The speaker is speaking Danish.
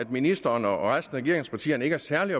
ministeren og resten af regeringspartierne ikke er særlig